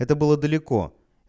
это было далеко